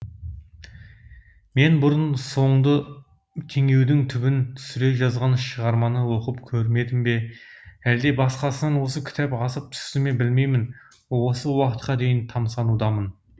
мен бұрын соңды теңеудің түбін түсере жазған шығарманы оқып көрмедім бе әлде басқасынан осы кітап асып түстіме білмеймін осы уақытқа дейін тамсанудамын